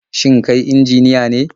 Shin kai injiniya ne?